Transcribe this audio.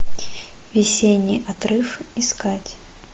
весенний отрыв искать